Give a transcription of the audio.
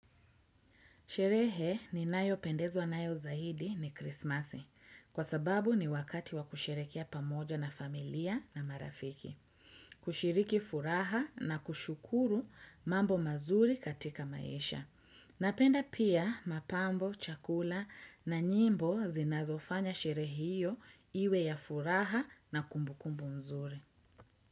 Sherehe ninayo pendezwa nayo zaidi ni krismasi, kwa sababu ni wakati wa kusherekea pamoja na familia na marafiki. Kushiriki furaha na kushukuru mambo mazuri katika maisha. Napenda pia mapambo, chakula na nyimbo zinazofanya shere hiyo iwe ya furaha na kumbu kumbu mzuri.